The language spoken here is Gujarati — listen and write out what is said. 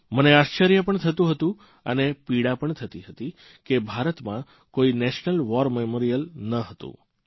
મને આશ્ચર્ય પણ થતું હતું અને પીડા પણ થતી હતી કે ભારતમાં કોઇ નેશનલ વોર મેમોરીયલ ન હતું